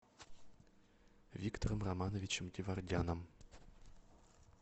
виктором романовичем геворгяном